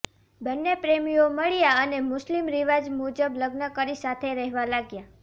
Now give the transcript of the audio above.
બંને પ્રેમીઓ મળ્યા અને મુસ્લિમ રિવાજ મુજબ લગ્ન કરી સાથે રહેવા લાગ્યા